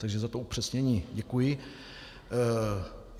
Takže za to upřesnění děkuji.